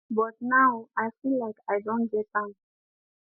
but now i feel like i don get am